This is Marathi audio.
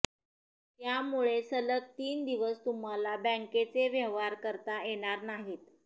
त्यामुळे सलग तीन दिवस तुम्हाला बँकेचे व्यवहार करता येणार नाहीत